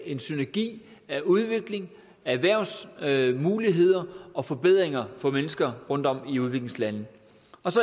en synergi af udvikling af erhvervsmuligheder og forbedringer for mennesker rundtom i udviklingslande